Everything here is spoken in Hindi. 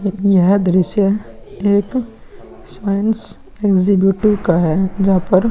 लेकिन यह दृश्य एक साइंस एक्सहिबिटिव का है जहाँ पर --